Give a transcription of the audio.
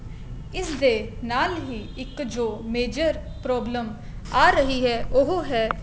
ਇਸ ਦੇ ਨਾਲ ਹੀ ਇੱਕ ਜੋ major problem ਆ ਰਹੀ ਹੈ ਉਹ ਹੈ